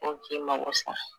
U k'i mago sa